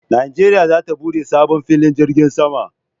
Najeriya za ta bude sabo filin jirgin sama